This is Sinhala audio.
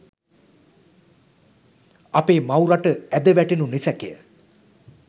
අපේ මව් රට ඇද වැටෙනු නිසැකය